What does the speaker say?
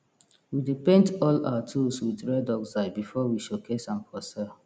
we dey paint all our tools wit red oxide before we showcase am for sell